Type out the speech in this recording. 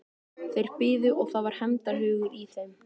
Þeir biðu og það var hefndarhugur í þeim.